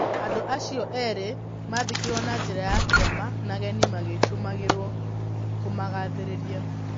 Andũ acio eerĩ maathikirũo na njĩra ya kĩama, na ageni magĩtũmagĩrũo kũmagathĩrĩria.